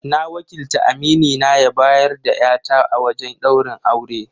Na wakilta aminina ya bayar da 'ya ta a wajen ɗaurin aure.